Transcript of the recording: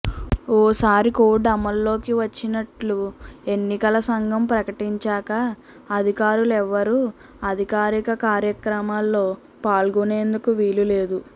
ఓసారి కోడ్ అమల్లోకి వచ్చినట్లు ఎన్నికల సంఘం ప్రకటించాక అధికారులెవరూ అధికారిక కార్యక్రమాల్లో పాల్గొనేందుకు వీలు లేదు